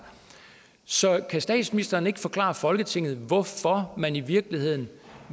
så kan statsministeren ikke forklare folketinget hvorfor man i virkeligheden